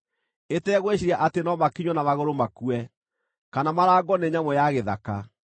ĩtegwĩciiria atĩ no makinywo na magũrũ makue, kana marangwo nĩ nyamũ ya gĩthaka.